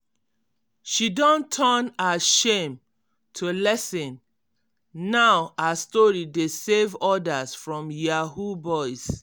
she don turn her shame to lesson now her story dey save others from yahoo boys.